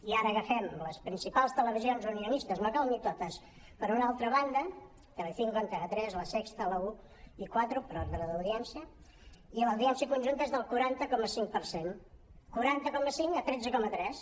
i ara agafem les principals televisions unionistes no cal ni totes per una altra banda telecinco antena tres la sexta la un y cuatro per ordre d’audiència i l’audiència conjunta és del quaranta coma cinc per cent quaranta coma cinc a tretze coma tres